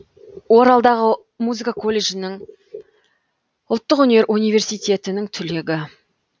оралдағы музыка колледжінің ұлттық өнер университетінің түлегі